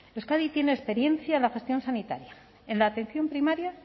euskadi tiene experiencia en la gestión sanitaria en la atención primaria